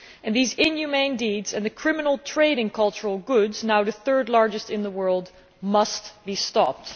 These inhumane deeds and the criminal trade in cultural goods now the third largest in the world must be stopped.